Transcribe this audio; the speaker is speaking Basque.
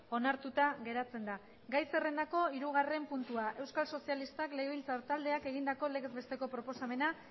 onartuta geratzen da gai zerrendako hirugarren puntua euskal sozialistak legebiltzar taldeak egindako legezbesteko proposamena